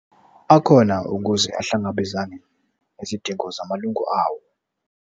Akhona ukuze ahlangabezane nezidingo zamalunga awo.